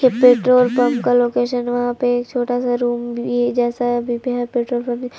ये petrol pump का location वहां पे एक छोटा सा रूम भी जैसा पेट्रोल पंप --